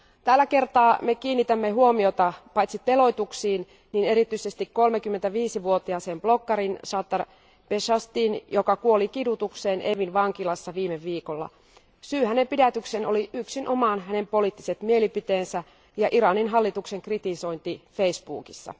Tällä kertaa me kiinnitämme huomiota paitsi teloituksiin niin erityisesti 35 vuotiaaseen bloginpitäjään Sattar Beheshtiin, joka kuoli kidutukseen Evinin vankilassa viime viikolla. Syy hänen pidätykseensä oli yksinomaan hänen poliittiset mielipiteensä ja Iranin hallituksen kritisointi Facebookissa.